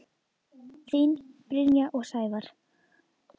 Þín Brynja og Sævar.